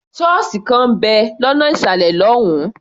Ṣọ́ọ̀sì kan ń bẹ̀ lọ́nà ìsàlẹ̀ lọ́hùn-ún.